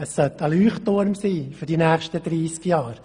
Es sollte ein Leuchtturm sein für die nächsten 30 Jahre.